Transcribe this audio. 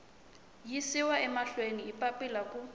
yisiwa mahlweni hi papila ku